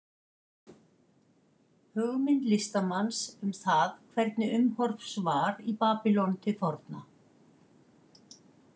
Hugmynd listamanns um það hvernig umhorfs var í Babýlon til forna.